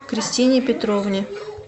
кристине петровне